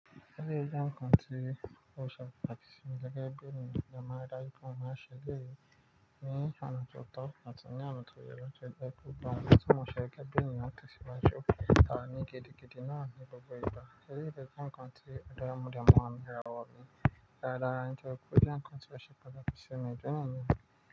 Eléyìí jẹ́ ǹkan tí ó ṣe pàtàkì sí mi gẹ́gẹ́ bí ènìyàn. Mo dẹ̀ máa ri dájú pé mo se eléyìí ní ọ̀nà tí o tọ́ àti ní ọ̀nà ti ó ye náà. Gbogbo àwon tí mo ṣe gẹ́gẹ́ bí ènìyàn tó ti ṣe wá ju a ni gidi gidí náà ni gbogbo ìgbà. Eré jẹ́ ǹkan tí òdodo mú ọmọ ẹni rẹwà wọlé. Rárá, ǹjẹ́ òkú, eré ǹkan tí ó ṣe pàtàkì sí mi gẹ́gẹ́ bí ènìyàn.